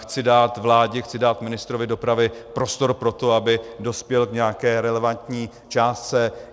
Chci dát vládě, chci dát ministrovi dopravy prostor pro to, aby dospěl k nějaké relevantní částce.